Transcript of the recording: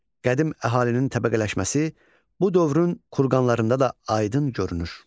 Qədim əhalinin təbəqələşməsi bu dövrün kurqanlarında da aydın görünür.